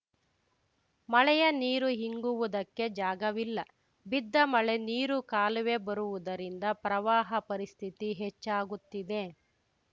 ಮಳೆಯ ನೀರು ಇಂಗುವುದಕ್ಕೆ ಜಾಗವಿಲ್ಲ ಬಿದ್ದ ಮಳೆ ನೀರು ಕಾಲುವೆ ಬರುವುದರಿಂದ ಪ್ರವಾಹ ಪರಿಸ್ಥಿತಿ ಹೆಚ್ಚಾಗುತ್ತಿದೆ